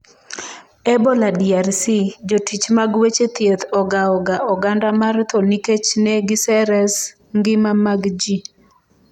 Ebola DRC: Jotich mag weche thieth ogao ga oganda mar tho nikech ne giseres ngima mag ji